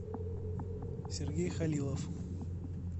сергей халилов